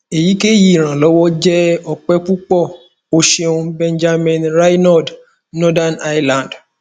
eyikeyi iranlọwọ jẹ ope pupọ o ṣeun benjamin reynolds northern ireland